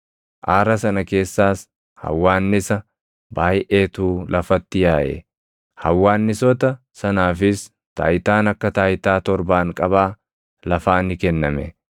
Aara sana keessaas hawwaannisa baayʼeetu lafatti yaaʼe; hawwaannisoota sanaafis taayitaan akka taayitaa torbaanqabaa lafaa ni kenname.